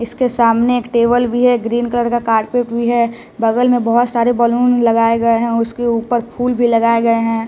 इसके सामने एक टेबल भी है ग्रीन कलर का कार्पेट भी है बगल में बहुत सारे बैलून लगाए गए हैं उसके ऊपर फूल भी लगाए गए हैं।